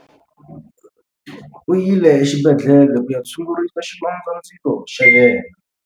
U yile exibedhlele ku ya tshungurisa xilondzandzilo xa yena.